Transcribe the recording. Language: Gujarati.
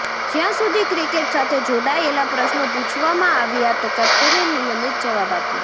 જ્યાં સુધી ક્રિકેટ સાથે જોડાયેલા પ્રશ્નો પૂછવામાં આવ્યાં તો કેપ્ટને નિયમિત જવાબ આપ્યા